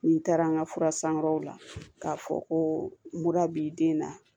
Ni taara n ka fura san yɔrɔw la k'a fɔ ko mura b'i den na